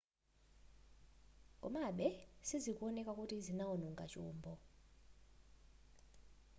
komabe sizikuoneka kuti zinaononga chombo